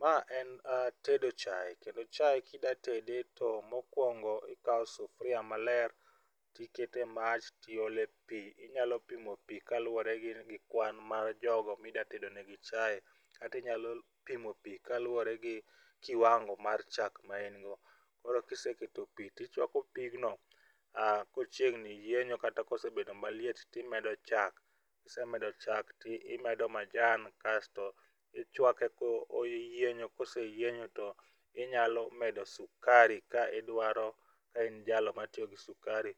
Ma en tedo chai kendo chai kida tede to mokwongo ikawo sufri a maler tikete mach tiole pii, inyalo pimo pii kaluwore gi kwan mar jogo mida tedo ne gi chai kati nyalo pimo pii kaluwore gi kiwango mar chak ma in go. Koro kiseketo pii tichwako pigno kochiegni yienyo kosebedo maliet nimedo chak. Kisemedo chak timedo majan kasto ichwake koyienyo koseyienyo to inyalo medo sukari ka idwaro ka in jalo matiyo gi sukari,